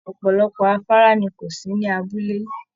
Ọpọlọpọ afárá ni kò sí ní abúlé.